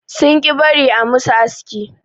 Sun ƙi bari a musu aski.